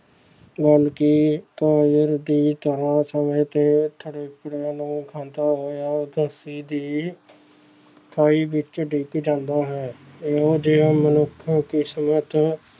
ਬਲਕਿ ਤਰ੍ਹਾਂ ਸਮੇਂ ਖਾਂਦਾ ਹੋਇਆ ਦੀ ਖਾਈ ਵਿੱਚ ਡਿੱਗ ਜਾਂਦਾ ਹੈ ਇਹੋ ਜਿਹੇ ਮਨੁੱਖ ਕਿਸਮਤ